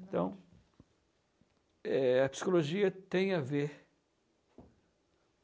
Então, é a psicologia tem a ver